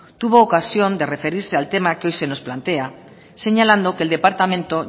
tuvo ocasión de referirse al tema que hoy se nos plantea señalando que el departamento